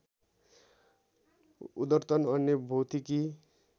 उद्धर्तन अन्य भौतिकी